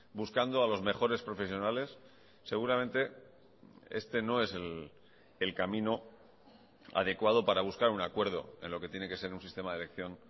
buscando a los mejores profesionales seguramente este no es el camino adecuado para buscar un acuerdo en lo que tiene que ser un sistema de elección